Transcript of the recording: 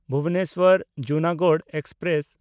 ᱵᱷᱩᱵᱚᱱᱮᱥᱣᱟᱨ–ᱡᱩᱱᱟᱜᱚᱲ express